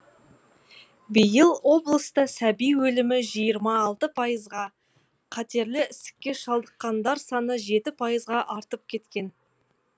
биыл облыста сәби өлімі жиырма алты пайызға қатерлі ісікке шалдыққандар саны жеті пайызға артып кеткен